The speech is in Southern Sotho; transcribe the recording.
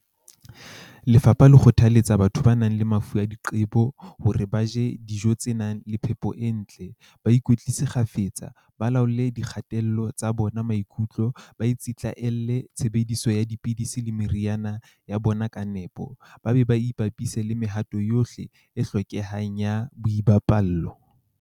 Lefapha le kgothalletsa batho ba nang le mafu a diqe-bo hore ba je dijo tse nang le phepo e ntle, ba ikwetlise kgafetsa, ba laole dikgatello tsa bona maikutlo, ba tsitla-llele tshebediso ya dipidisi le meriana ya bona ka nepo, ba be ba ipapise le mehato yohle e hlokehang ya boipaballo.